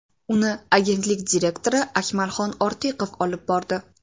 Uni agentlik direktori Akmalxon Ortiqov olib bordi.